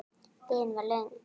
Biðin var löng.